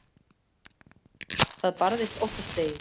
Það barðist óttaslegið.